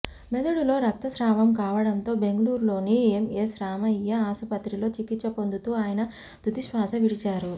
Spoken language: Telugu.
మొదడులో రక్తస్రావం కావడంతో బెంగళూరులోని ఎంఎస్ రామయ్య ఆసుపత్రిలో చికిత్స పొందుతూ ఆయన తుదిశ్వాస విడిచారు